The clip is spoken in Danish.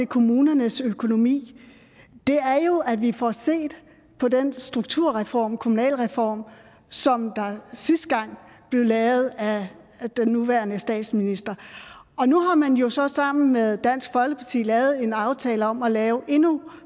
kommunernes økonomi er jo at vi får set på den strukturreform kommunalreform som sidste gang blev lavet af den nuværende statsminister nu har man jo så sammen med dansk folkeparti lavet en aftale om at lave endnu